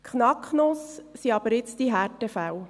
Die Knacknuss sind jedoch jetzt die Härtefälle.